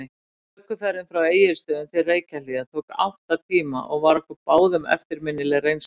Ökuferðin frá Egilsstöðum til Reykjahlíðar tók átta tíma og var okkur báðum eftirminnileg reynsla.